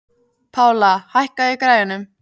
Pála, hækkaðu í græjunum.